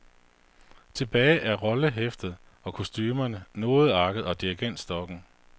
Tilbage er rollehæftet og kostumerne, nodearket og dirigentstokken.